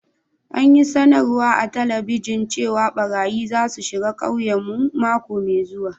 An yi sanarwa a'telibijin cewa barayyi za su shiga ƙauyen mu mako mai zuwa.